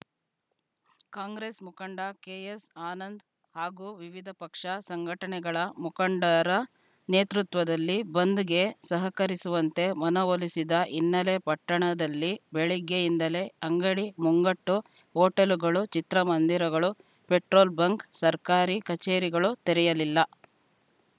ಕಾಂಗ್ರೆಸ್‌ ಮುಖಂಡ ಕೆಎಸ್‌ ಆನಂದ್‌ ಹಾಗೂ ವಿವಿಧ ಪಕ್ಷ ಸಂಘಟನೆಗಳ ಮುಖಂಡರ ನೇತೃತ್ವದಲ್ಲಿ ಬಂದ್‌ಗೆ ಸಹಕರಿಸುವಂತೆ ಮನವೊಲಿಸಿದ ಹಿನ್ನೆಲೆ ಪಟ್ಟಣದಲ್ಲಿ ಬೆಳಗ್ಗೆ ಯಿಂದಲೇ ಅಂಗಡಿ ಮುಂಗಟ್ಟು ಹೊಟೇಲ್‌ಗಳು ಚಿತ್ರಮಂದಿರಗಳು ಪೆಟ್ರೋಲ್‌ ಬಂಕ್‌ ಸರ್ಕಾರಿ ಕಚೇರಿಗಳು ತೆರೆಯಲಿಲ್ಲ